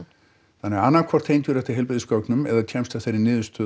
þannig að annað hvort tengirðu þetta heilbrigðisgögnum eða kemst að þeirri niðurstöðu